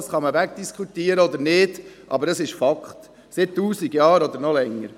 Dies kann man wegdiskutieren oder nicht, aber es ist Fakt, seit tausend Jahren oder noch länger.